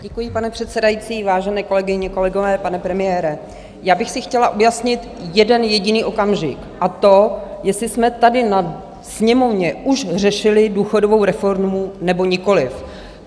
Děkuji, pane předsedající, vážené kolegyně, kolegové, pane premiére, já bych si chtěla objasnit jeden jediný okamžik, a to, jestli jsme tady na sněmovně už řešili důchodovou reformu, nebo nikoliv.